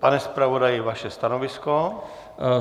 Pane zpravodaji, vaše stanovisko?